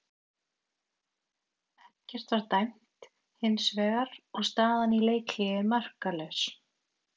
Ekkert var dæmt hins vegar og staðan í leikhléi markalaus.